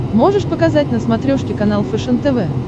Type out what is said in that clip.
можешь показать на смотрешке канал фэшен тв